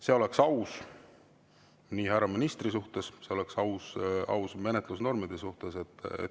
See oleks aus härra ministri suhtes, oleks aus menetlusnormide suhtes.